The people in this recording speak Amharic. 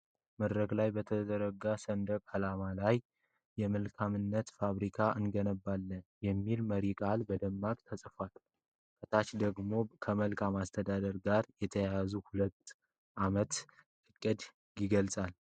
መድረክ ላይ በተዘረጋ ሰንደቅ ዓላማ ላይ “የመልካምነት ፋብሪካ እንገነባለን” የሚል መሪ ቃል በደማቁ ተጽፏል። ከታች ደግሞ ከመልካም አስተዳደር ጋር የተያያዘ የሁለት ዓመት እቅድ ይገልጻል።